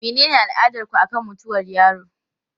Menene al'adarku akan mutuwar yaro?